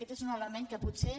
aquest és un element que potser